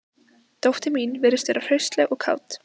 Dóttir mín virðist vera hraustleg og kát